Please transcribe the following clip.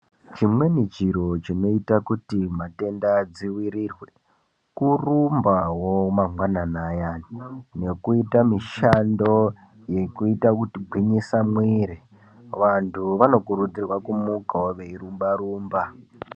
Chimweni chiro chinoita kuti matenda adziwirirwe, kurumbawo mangwanani ayana, nekuita mushando yekuita kugwinyisa mwiri. Vanthu vanokurudzirwa kumukawo veirumba-rumba.